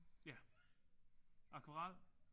Ja. Akvarel?